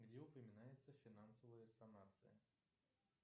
где упоминается финансовая санация